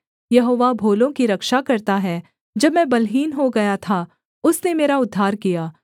यहोवा भोलों की रक्षा करता है जब मैं बलहीन हो गया था उसने मेरा उद्धार किया